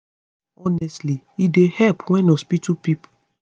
honestly e dey help wen hospitol workers tell sick pesin small small how to take medicine with respect